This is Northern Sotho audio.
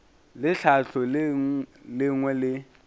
le tlhahlo le lengwe le